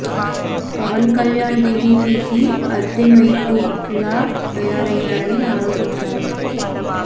పవన్ కళ్యాణ్ టీడీపీ కి అద్దె మైకు లా తయారయ్యారని ఆరోపించారు